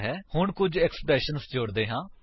ਹੁਣ ਕੁੱਝ ਏਕਸਪ੍ਰੇਸ਼ੰਸ ਵਿਅੰਜਕ ਜੋੜਦੇ ਹਨ